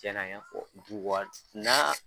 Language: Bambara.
Cɛna n y'a fɔ du waati naa